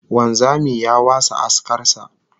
Wanzami ya wasa askar sa